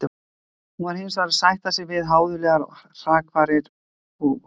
Hún varð hinsvegar að sætta sig við háðulegar hrakfarir og ósigur.